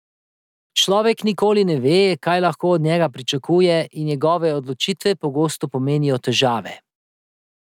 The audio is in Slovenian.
Človek nikoli ne ve, kaj lahko od njega pričakuje, in njegove odločitve pogosto pomenijo težave.